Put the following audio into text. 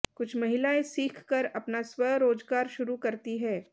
कुछ महिलाएं सीख कर अपना स्वरोजगार शुरू करती हैं